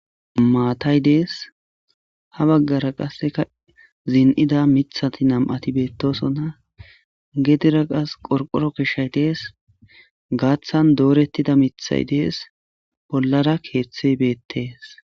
maatay dees ha baggara qasseka zin7ida mithati nam7ati beettosona gedira qas qorqoro keshshay dees gaaththan doorettida mithay dees bollara keeththe beettees